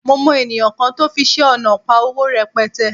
Mo mọ ènìyàn kan tó fiṣẹ́ ọnà pa owó rẹpẹtẹ